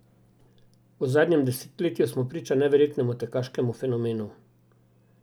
V zadnjem desetletju smo priča neverjetnemu tekaškemu fenomenu.